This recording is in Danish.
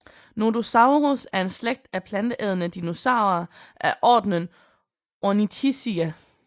Nodosaurus er en slægt af planteædende dinosaurer af ordenen Ornithischia